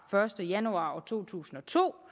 første januar to tusind og to